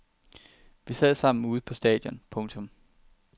Vi sad sammen ude på stadion. punktum